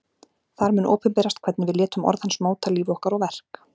Þar mun opinberast hvernig við létum orð hans móta líf okkar og verk.